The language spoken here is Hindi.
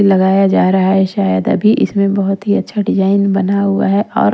लगाया जा रहा है शायद अभी इसमें बहुत ही अच्छा डिजाइन बना हुआ है और--